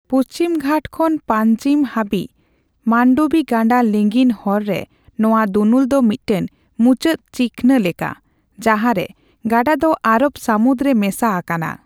ᱯᱩᱪᱷᱤᱢᱜᱷᱟᱴ ᱠᱷᱚᱱ ᱯᱟᱧᱡᱤᱢ ᱦᱟᱹᱵᱤᱡ ᱢᱟᱱᱰᱚᱵᱤ ᱜᱟᱰᱟ ᱞᱤᱸᱜᱤᱱ ᱦᱚᱨ ᱨᱮ ᱱᱚᱣᱟ ᱫᱩᱱᱩᱞ ᱫᱚ ᱢᱤᱫᱴᱟᱝ ᱢᱩᱪᱟᱹᱫ ᱪᱤᱠᱷᱱᱟᱹ ᱞᱮᱠᱟ, ᱡᱟᱦᱟᱸᱨᱮ ᱜᱟᱰᱟ ᱫᱚ ᱟᱨᱚᱵᱽ ᱥᱟᱢᱩᱫᱽ ᱨᱮ ᱢᱮᱥᱟ ᱟᱠᱟᱱᱟ ᱾